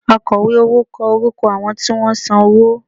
Akọ̀wé owó kọ orúkọ àwọn tí wọ́n san owó